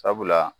Sabula